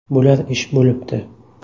Bo‘lar ish bo‘libdi.